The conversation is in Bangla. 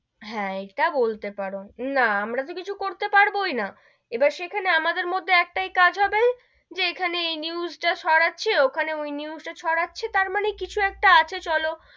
হেঁ, ইটা বলতে পারো না আমরা তো কিছু করতে পারবোই না, এবার সেখানে আমাদের মধ্যে একটাই কাজ হবে, যে এখানে ওই news টা সরাচ্ছি, ওখানে ওই news টা সরাচ্ছি, তার মানে কিছু একটা আছে চলো,